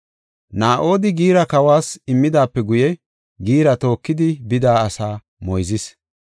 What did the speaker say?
Naa7odi giira kawas immidaape guye, giira tookidi bida asaa moyzis.